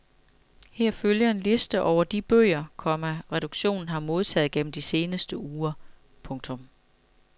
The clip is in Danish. Her følger en liste over de bøger, komma redaktionen har modtaget gennem de seneste uger. punktum